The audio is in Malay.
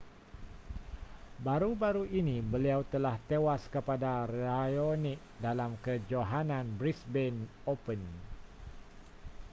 baru-baru ini beliau telah tewas kepada raonic dalam kejohanan brisbane open